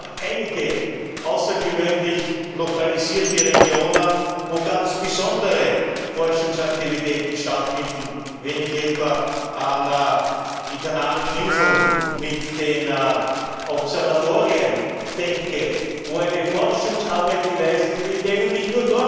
Wir haben einige außergewöhnlich lokalisierte Regionen, wo ganz besondere Forschungsaktivitäten stattfinden, wenn ich etwa an die Kanarischen Inseln mit den Observatorien denke, wo eine Forschungsarbeit geleistet wird, die